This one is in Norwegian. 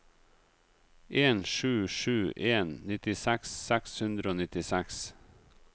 en sju sju en nittiseks seks hundre og nittiseks